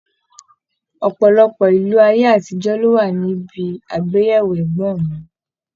Ọpọlọpọ ìlù aye-atijo ló wà níbí agbeyewo ẹgbọn mi.